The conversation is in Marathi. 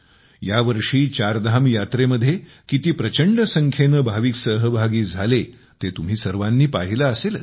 यावर्षी चारधाम यात्रेमध्ये किती प्रचंड संख्येने भाविक सहभागी झाले ते तुम्ही सर्वांनी पाहिले असेलच